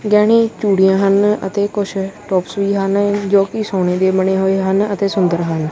ਗਹਿਣੀ ਚੁੰਡਿਆਂ ਹਨ ਅਤੇ ਕੁਝ ਟੋਪਸ ਵੀ ਹਨ ਜੋ ਕਿ ਸੋਨੇ ਦੀ ਬਣੀ ਹੋਈ ਹਨ ਅਤੇ ਸੁੰਦਰ ਹਨ।